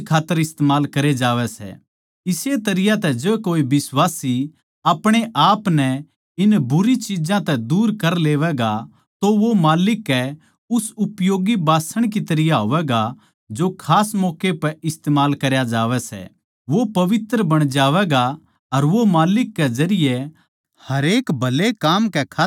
इस्से तरियां जै कोए बिश्वासी अपणेआपनै नै इन बुरी चिज्जां तै दूर कर लेवैगा सै तो वो माल्लिक के उस उपयोगी बासण की तरियां होवैगा जो खास मौक्का पै इस्तमाल करया जावै सै वो पवित्र बण जावैगा अर वो माल्लिक कै जरिये हरेक भले काम कै खात्तर इस्तमाल करया जावैगा